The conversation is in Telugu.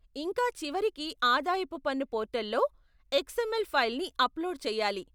ఇంకా చివరికి ఆదాయపు పన్ను పోర్టల్లో ఎక్స్ఎమ్ఎల్ ఫైల్ని అప్లోడ్ చేయాలి.